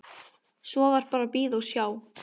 Svo var bara að bíða og sjá.